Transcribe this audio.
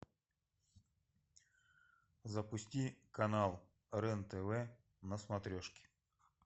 запусти канал рен тв на смотрешке